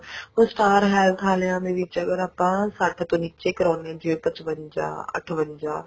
star health ਆਲਿਆਂ ਦੇ ਵਿੱਚ ਅਗਰ ਆਪਾਂ ਸੱਠ ਤੋਂ ਨੀਚੇ ਕਰਾਉਣੇ ਆ ਜਿਵੇਂ ਪਚਵੰਜਾ ਅਠਵੰਜਾ